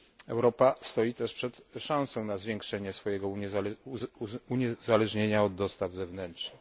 Europa stoi też przed szansą na zwiększenie swojego uniezależnienia od dostaw zewnętrznych.